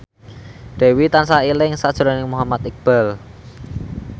Dewi tansah eling sakjroning Muhammad Iqbal